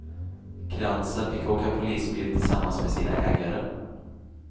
Kransen fick åka polisbil tillsammans med sina ägare.